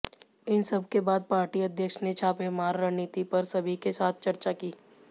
इन सबके बाद पार्टी अध्यक्ष ने छापेमार रणनीति पर सभी के साथ चर्चा की